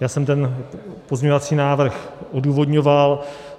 Já jsem ten pozměňovací návrhů odůvodňoval.